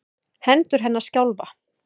Hendur hennar skjálfa.